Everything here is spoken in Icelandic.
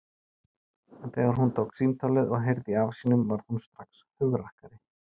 En þegar hún tók símtólið og heyrði í afa sínum varð hún strax hugrakkari.